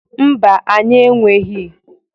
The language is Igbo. Mba, anyị enweghi.